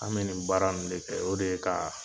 An bɛ nin baara nunnu de kɛ, o de ye kaa